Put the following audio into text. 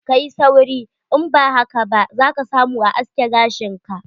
Kayi sauri, in ba haka ba za ka samu a aske gashin ka ba.